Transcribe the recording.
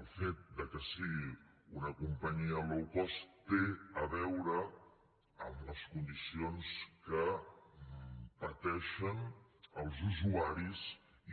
el fet que sigui una companyia low cost té a veure amb les condicions que pateixen els usuaris